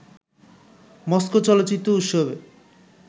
Moscow চলচ্চিত্র উৎসবে